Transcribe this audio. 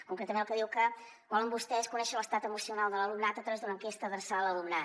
concretament el que diu que volen vostès conèixer l’estat emocional de l’alumnat a través d’una enquesta adreçada a l’alumnat